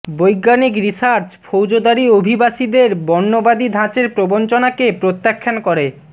বৈজ্ঞানিক রিসার্চ ফৌজদারী অভিবাসীদের বর্ণবাদী ধাঁচের প্রবঞ্চনাকে প্রত্যাখ্যান করে